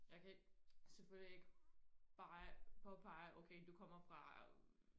jeg kan ikke selvfølgelig ikke bare påpege okay du kommer fra øh